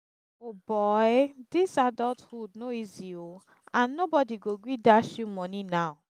o boy! dis adulthood no easy oo and nobody go gree dash you money now